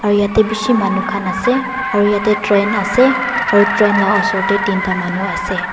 aru yate bishi manu khan ase aru yate train ase aru train lah oshor teh tin ta manu ase.